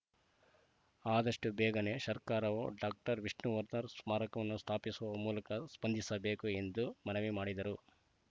ಆದಷ್ಟುಬೇಗನೆ ಸರ್ಕಾರವು ಡಾಕ್ಟರ್ ವಿಷ್ಣುವರ್ಧನ್‌ ಸ್ಮಾರಕವನ್ನು ಸ್ಥಾಪಸುವ ಮೂಲಕ ಸ್ಪಂದಿಸಬೇಕು ಎಂದು ಮನವಿ ಮಾಡಿದರು